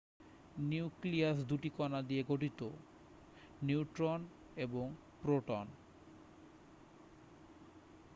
nucleus দুটি কণা নিয়ে গঠিত নিউট্রন এবং প্রোটন